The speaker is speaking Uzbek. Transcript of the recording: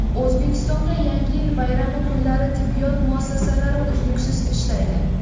O‘zbekistonda Yangi yil bayrami kunlari tibbiyot muassasalari uzluksiz ishlaydi.